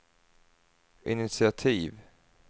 initiativ